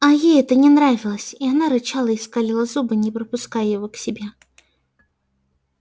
а ей это не нравилось и она рычала и скалила зубы не пропуская его к себе